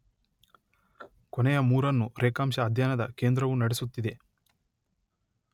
ಕೊನೆಯ ಮೂರನ್ನು ರೇಖಾಂಶ ಅಧ್ಯಯನದ ಕೇಂದ್ರವು ನಡೆಸುತ್ತಿದೆ.